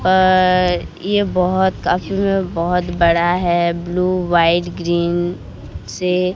अ ये बहोत काफी में बहोत बड़ा है ब्लू वाइट ग्रीन से--